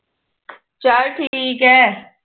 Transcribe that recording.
ਚੱਲ ਠੀਕ ਐ